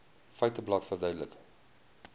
feiteblad verduidelik